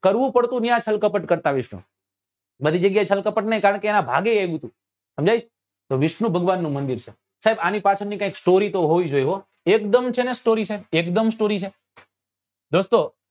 કરવું પડતું ત્યાં છલ કપટ કરતા વિષ્ણુ બધી જગ્યા એ છલ કપટ નહી કારણ કે એના ભાગે એ બધું તો સમજ્ય છે તો વિષ્ણુ ભગવાન નું મંદિર છે સાહેબ આની પાછળ ની કઈક story તો હોય જ હોય હો એકદમ છે ને story સાહેબ એક દમ story છે